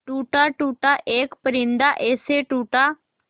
टूटा टूटा एक परिंदा ऐसे टूटा